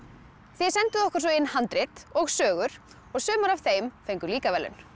þið senduð okkur inn handrit og sögur og sumar af þeim fengu líka verðlaun